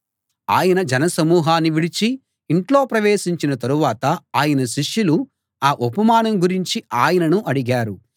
ఆయన జనసమూహన్ని విడిచి ఇంట్లో ప్రవేశించిన తరువాత ఆయన శిష్యులు ఆ ఉపమానం గురించి ఆయనను అడిగారు